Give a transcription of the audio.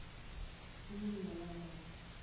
உம் நல்லா இருக்காங்க.